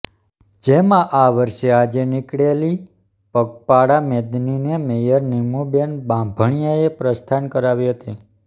જેમાં આ વર્ષ આજે નિકળેલી પગપાળા મેદનીને મેયર નિમુબેન બાંભણીયાએ પ્રસ્થાન કરાવી હતી